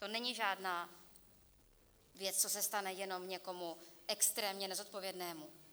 To není žádná věc, co se stane jenom někomu extrémně nezodpovědnému.